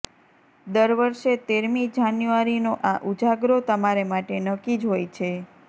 દર વર્ષે તેરમી જાન્યુઆરીનો આ ઉજાગરો તમારે માટે નક્કી જ હોય છે